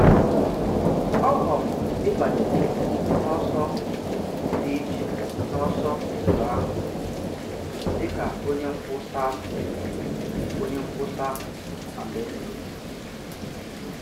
Ọ họ̀rọ̀ ịbanye n'ọsọ dị iche n'ọsọ ndụ ahụ, dị ka onye nkwùsa nkwùsa Alaeze.